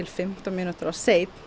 fimmtán mínútum of seinn